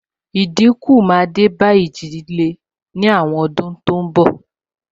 Ní àwọn ọdún tó n bọ̀, ìjì líle náà dínkù